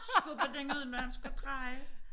Skubbe den ud når han skulle dreje